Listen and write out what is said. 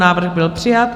Návrh byl přijat.